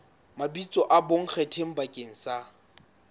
mabitso a bonkgetheng bakeng sa